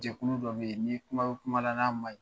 jɛkulu dɔ bɛ ye ni kuma bɛ kumala n'a manɲi